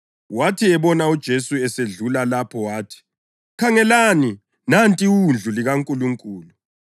Wathi ebona uJesu esedlula lapho wathi, “Khangelani, nanti iWundlu likaNkulunkulu!”